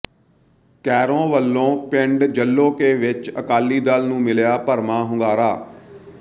ਕੈਰੋਂ ਵੱਲੋਂ ਪਿੰਡ ਜੱਲੋਕੇ ਵਿਚ ਅਕਾਲੀ ਦਲ ਨੂੰ ਮਿਲਿਆ ਭਰਵਾਂ ਹੁੰਗਾਰਾ